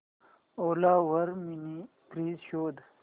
ओला वर mini fridge शोध